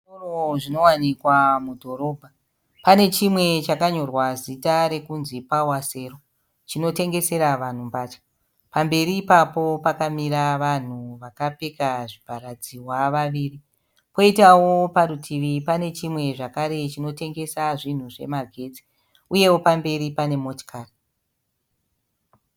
Zvitoro zvinowanikawa mudhorobha. Pane chimwe chakanyorwa zita rokunzi Pawa Sero chinotengesera vanhu mbatya. Pamberi ipapo pakamira vanhu vakapfeka zvivharadzihwa vaviri. Kwoitawo parutivi pane chimwe zvakare chinotengesa zvinhu zvemagetsi uyewo pamberi pane motikari.